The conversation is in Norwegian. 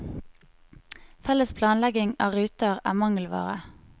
Felles planlegging av ruter er mangelvare.